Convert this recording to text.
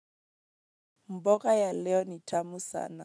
Mboga ya leo ni tamu sana.